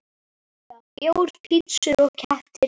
Júlía: Bjór, pitsur og kettir.